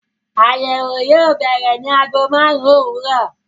Àyẹ̀wò yóò bẹ̀rẹ̀ ní ago márùn-ún òwúrọ̀.